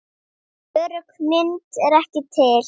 Örugg mynd er ekki til.